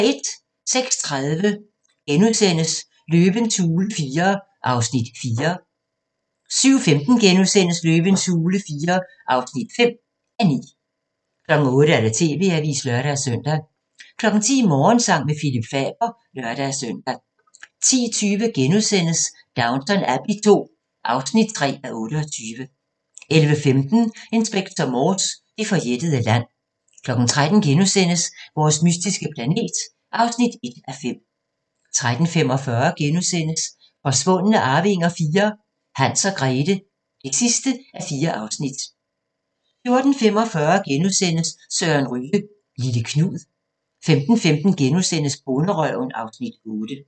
06:30: Løvens hule IV (4:9)* 07:15: Løvens hule IV (5:9)* 08:00: TV-avisen (lør-søn) 10:00: Morgensang med Phillip Faber (lør-søn) 10:20: Downton Abbey II (3:28)* 11:15: Inspector Morse: Det forjættede land 13:00: Vores mystiske planet (1:5)* 13:45: Forsvundne arvinger IV: Hans og Grethe (4:4)* 14:45: Søren Ryge - Lille Knud * 15:15: Bonderøven (Afs. 8)*